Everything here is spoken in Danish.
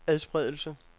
adspredelse